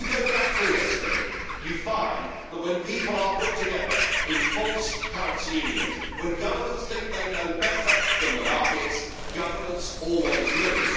If you go back through history, you find that when people are put together in false currency unions, when governments think they know better than the markets, governments always lose.